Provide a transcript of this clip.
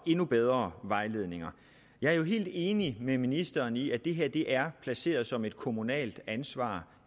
endnu bedre vejledninger jeg er jo helt enig med ministeren i at det her i øjeblikket er placeret som et kommunalt ansvar